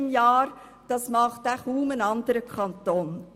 Auch das macht kaum ein anderer Kanton.